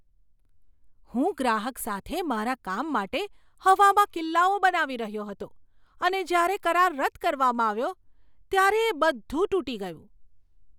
હું ગ્રાહક સાથે મારા કામ માટે હવામાં કિલ્લાઓ બનાવી રહ્યો હતો અને જ્યારે કરાર રદ કરવામાં આવ્યો, ત્યારે તે બધું તૂટી ગયું.